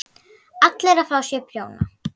ALLIR AÐ FÁ SÉR PRJÓNA!